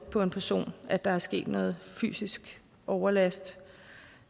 på en person at der er sket noget fysisk overlast